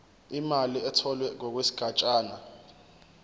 imali etholwe ngokwesigatshana